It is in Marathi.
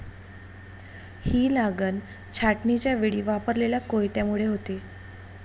ही लागन छाटणीच्यावेळी वापरलेल्या कोयत्यामुळे होते.